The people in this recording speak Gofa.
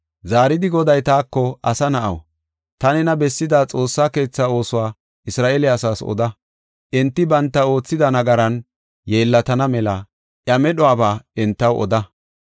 Zaaridi Goday taako, “Asa na7aw, ta nena bessida Xoossa keethaa oosuwa Isra7eele asaas oda; enti banta oothida nagaran yeellatana mela iya medhuwaba entaw oda.